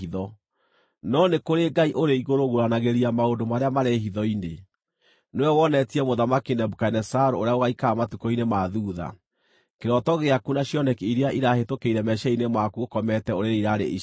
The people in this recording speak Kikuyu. no nĩ kũrĩ Ngai ũrĩ igũrũ ũguũranagĩria maũndũ marĩa marĩ hitho-inĩ. Nĩwe wonetie Mũthamaki Nebukadinezaru ũrĩa gũgaikara matukũ-inĩ ma thuutha. Kĩroto gĩaku na cioneki iria irahĩtũkĩire meciiria-inĩ maku ũkomete ũrĩrĩ iraarĩ ici: